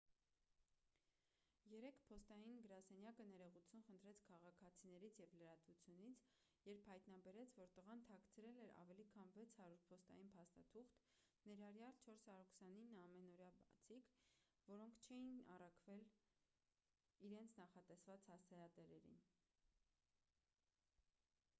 երեկ փոստային գրասենյակը ներողություն խնդրեց քաղաքացիներից և լրատվությունից երբ հայտնաբերեց որ տղան թաքցրել էր ավելի քան 600 փոստային փաստաթուղթ ներառյալ 429 ամանորյա բացիկ որոնք չէին առաքվել իրենց նախատեսված հասցեատերերին